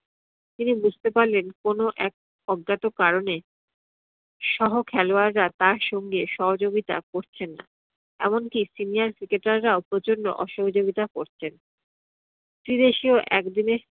তিনি বুঝতে পারলেন কোনো এক অজ্ঞাত কারণে সহ খেলোয়াড়রা তার সঙ্গে সহযোগিতা করছেন না। এমনকী seniour cricketer রাও প্রচণ্ড অসহযোগিতা করছেন। ত্রিদেশিও একদিনের